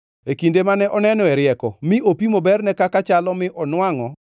e kinde mane onenoe rieko mi opimo berne kaka chalo mi onwangʼo.